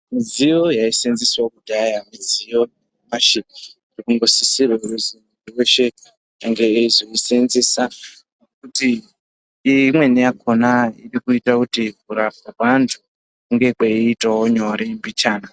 Midziyo yaisevenzeswa kudhaya midziyo yanyamashi inosisirwa kuti muntu weshe ange eizosedzesa kuti imweni yakona irikuita kuti kurapwa kwevantu kunge kweiita nyore mbichana.